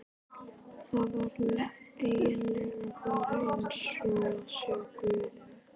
Það var eigin lega bara eins og að sjá guð.